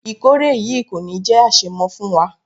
Ìkórè yìí kò ní jé àṣemọ fún wa.